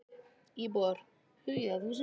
Íbúar hugi að húsum sínum